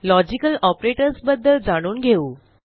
logical operators बद्दल जाणून घेऊ